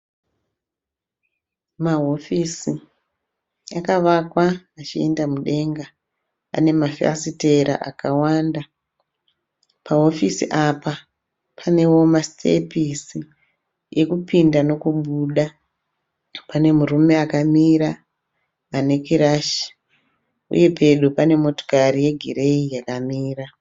Mahofisi akavakwa achienda mudenga. Ane mafasitera akawanda. Pahofisi apa panewo masitepisi ekupinda nokubuda. Pane murume akamira ane kirashi. Uye pedo pane motikari yegireyi yakamira.